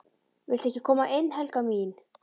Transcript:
VILTU EKKI KOMA INN, HELGA MÍN!